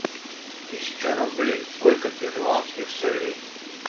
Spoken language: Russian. тысяча рублей сколько перуанских солей